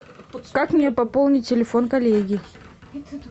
как мне пополнить телефон коллеги